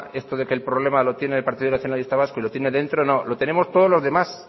esto de que el problema lo tiene el partido nacionalista vasco y lo tiene dentro no lo tenemos todos los demás